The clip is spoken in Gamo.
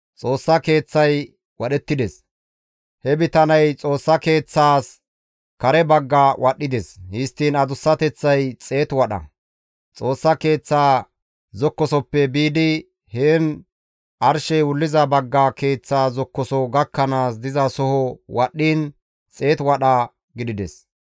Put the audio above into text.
He bitaney Xoossa Keeththaas kare bagga wadhdhides; histtiin adussateththay xeetu wadha. Xoossa Keeththa zokkosoppe biidi, heni arshey wulliza bagga keeththa zokkoso gakkanaas dizasoho wadhdhiin, xeetu wadha gidides.